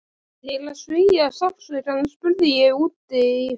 Til að svía sársaukann spurði ég útí hött